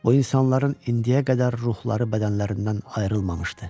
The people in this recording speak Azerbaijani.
O insanların indiyə qədər ruhları bədənlərindən ayrılmamışdı.